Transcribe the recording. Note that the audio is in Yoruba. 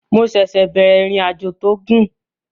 Mo ṣẹ̀ṣẹ̀ bẹ̀rẹ̀ ìrìnàjò tó gùn